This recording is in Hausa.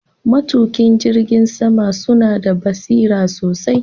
Matuka jirgin sama suna da basira sosai